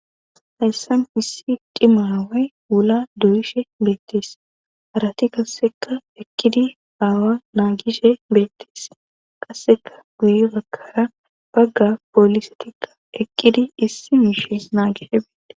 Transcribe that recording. hayssan issi cima away wula duyishe beettees harati kasseka eqqidi aawa naagishe beettees qasseka guye bakkara bagga poolisetikka eqqidi issi miishees naagishe beetde